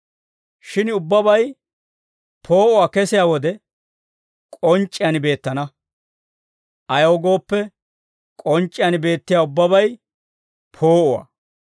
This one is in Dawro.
Shin ubbabay poo'uwaa kesiyaa wode, k'onc'c'iyaan beettana; ayaw gooppe, k'onc'c'iyaan beettiyaa ubbabay poo'uwaa.